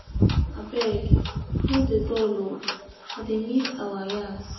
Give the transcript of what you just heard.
Abeg, no dey dull um I dey miss our yarns.